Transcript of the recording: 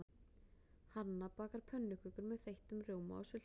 Hanna bakar pönnukökur með þeyttum rjóma og sultu.